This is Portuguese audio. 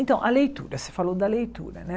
Então, a leitura, você falou da leitura, né?